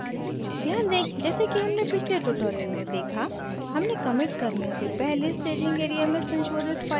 ध्यान दें जैसे कि हमने पिछले ट्यूटोरियल में देखा हमने कमिट करने से पहले staging area में संशोधित files नहीं जोड़ी थी और